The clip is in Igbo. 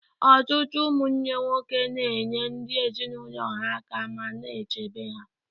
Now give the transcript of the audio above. Ọtụtụ ụmụnne nwoke na-enyere ndị ezinụlọ ha aka ma na-echebe ha.